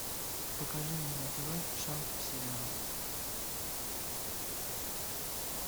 покажи мне на тв шант сериал